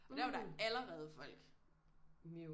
Der var der allerede folk